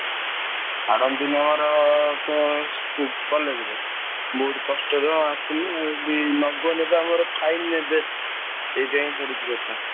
ମୋର college ରେ ବହୁତ କଷ୍ଟରେ ଆସିଲି ଆଉ ନଗଲେ ବା ଆମର fine ନେବେ ସେଇଥି ପାଇଁ ପଡିଛି କଥା।